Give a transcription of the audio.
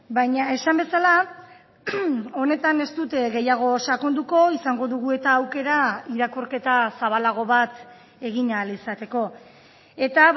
baina esan bezala honetan ez dute gehiago sakonduko izango dugu eta aukera irakurketa zabalago bat egin ahal izateko eta